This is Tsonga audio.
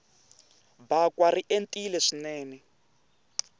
bakwa ri entile swinene